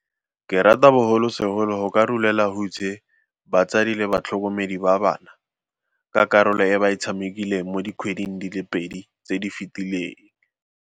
Ke rata bogolosegolo go ka rolela hutshe batsadi le batlhokomedi ba bana, ka karolo e ba e tshamekileng mo dikgweding di le pedi tse di fetileng.